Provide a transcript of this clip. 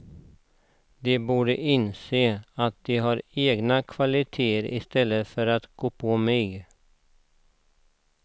De borde inse att de har egna kvaliteter istället för att gå på mig.